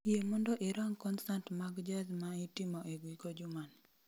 Yie mondo irang konsat mag jaz ma itimo e giko juma ni